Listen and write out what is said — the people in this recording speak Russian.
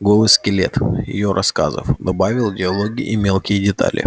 голый скелет её рассказов добавил диалоги и мелкие детали